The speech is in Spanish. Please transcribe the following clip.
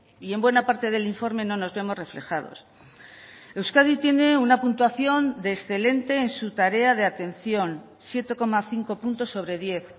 y en buena parte del informe no nos vemos reflejados euskadi tiene una puntuación de excelente en su tarea de atención siete coma cinco puntos sobre diez